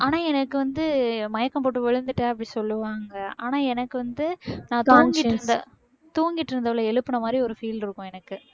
ஆனா எனக்கு வந்து மயக்கம் போட்டு விழுந்துட்டேன் அப்படி சொல்லுவாங்க ஆனா எனக்கு வந்து நான் தூங்கிட்டு இருந்த~ தூங்கிட்டு இருந்தவளை எழுப்புன மாதிரி ஒரு feel இருக்கும் எனக்கு